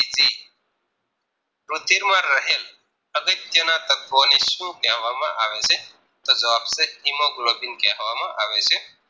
રુધિરમાં રહેલ અગત્યના તત્વો ને શું કહેવામાં આવે છે તો જવાબ છે Hemoglobin કહેવામાં આવે છે